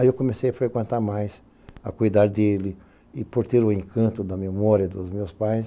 Aí eu comecei a frequentar mais, a cuidar dele, e por ter o encanto da memória dos meus pais,